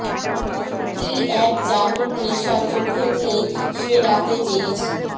কী এক জাদুর নেশা চোখে নিয়ে সে রাতে জেগেছি